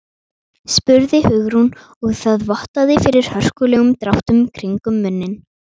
spurði Hugrún og það vottaði fyrir hörkulegum dráttum kringum munninn.